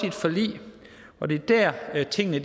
et forlig og det er der tingene